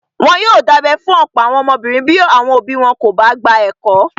Wọ́n yóò dábẹ́ fún ọ̀pọ̀ àwọn ọmọbìnrin bí àwọn òbí wọn kò bá gba ẹ̀kọ́.